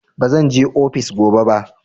Bazan je ofis gobe ba.